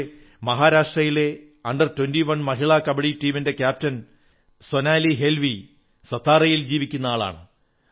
അതുപോലെ മഹാരാഷ്ട്രയിലെ അണ്ടർ 21 മഹിളാ കബഡി ടീമിന്റെ ക്യാപ്റ്റൻ സോനാലീ ഹേല്വി സത്താറയിൽ ജീവിക്കുന്ന വ്യക്തിയാണ്